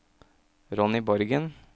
Ronny Borgen